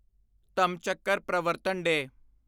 ਧੱਮਚੱਕਰ ਪ੍ਰਵਰਤਨ ਡੇ